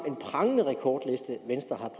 en prangende rekordliste venstre